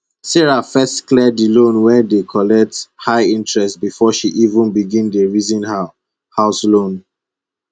sarah first clear di loan wey dey collect high interest before she even begin dey reason her house loan